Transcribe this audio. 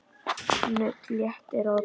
Nudd léttir á því.